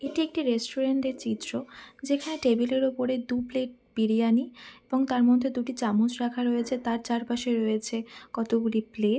এটি একটি রেস্টুরেন্ট এর চিত্র যেখানে টেবিল এর ওপরে দু প্লেট বিরিয়ানি এবং তার মধ্যে দুটি চামচ রাখা রয়েছে তার চার পাশে রয়েছে কতগুলি প্লে--